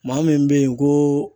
Maa min bɛ yen ko